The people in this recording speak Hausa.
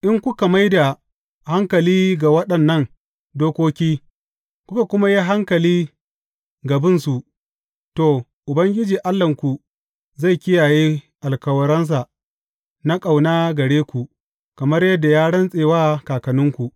In kuka mai da hankali ga waɗannan dokoki, kuka kuma yi hankali ga bin su, to, Ubangiji Allahnku zai kiyaye alkawarinsa na ƙauna gare ku, kamar yadda ya rantse wa kakanninku.